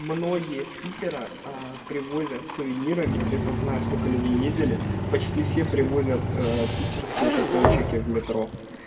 многие с питера привозят сувенирами вот я просто знаю сколько людей ездили почти все привозят питерские жетончики в метро